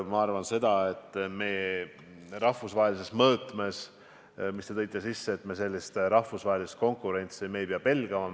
Ma arvan, et mis puutub rahvusvahelisse mõõtmesse, mille te sisse tõite, siis me rahvusvahelist konkurentsi ei pea pelgama.